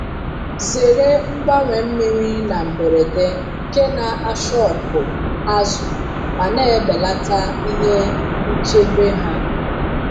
Zere mgbanwe mmiri na mberede nke na ashọkụ azụ ma na-ebelata ihe nchebe ha.